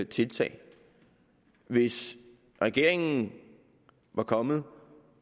tiltag hvis regeringen var kommet